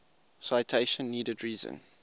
citation needed reason